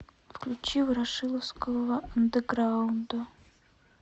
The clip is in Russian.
включи ворошиловского андеграунда